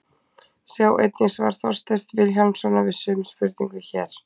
Sjá einnig svar Þorsteins Vilhjálmssonar við sömu spurningu, hér.